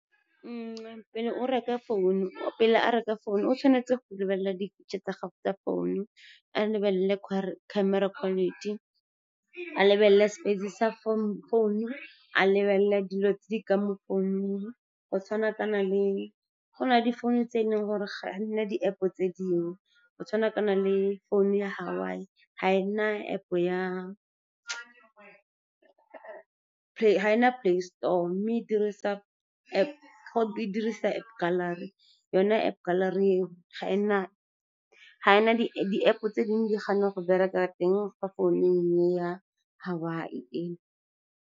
Pele a reka founu o tshwanetse go lebelela dintšhe tsa gago tsa founu, a lebelele camera quality, a lebelele space-e sa founu, a lebelele dilo tse di ka mo founung. Go na le difounu tse e leng gore ga nna di-App-o tse dingwe, go tshwanakana le founu ya Huawei, ga ena Play Store mme e dirisa App Gallery yona App Gallery di-App tse dingwe di gana go bereka teng ko founung e ya Huawei e.